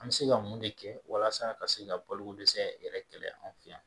An bɛ se ka mun de kɛ walasa ka se ka balokodɛsɛ yɛrɛ kɛlɛ an fɛ yan